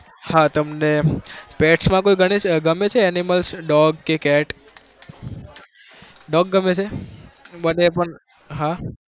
હા તમને pets માં કોઈ ગણે ગમે છે animals dog કે cat dog ગમે છે મને પણ હા